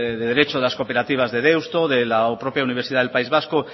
de derecho de las cooperativas de deusto de la propia universidad del país vasco